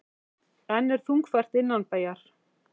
Enn er þungfært innanbæjar